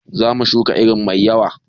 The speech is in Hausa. Zamu shuka iri mai yawa